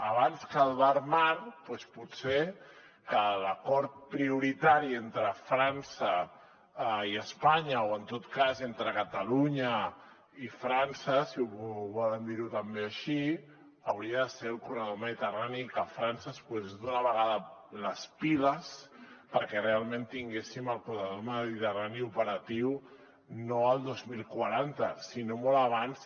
abans que el barmar doncs potser que l’acord prioritari entre frança i espanya o en tot cas entre catalunya i frança si ho volen dir també així hauria de ser el corredor mediterrani que frança es posés d’una vegada les piles perquè realment tinguéssim el corredor mediterrani operatiu no el dos mil quaranta sinó molt abans